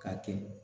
Ka kɛ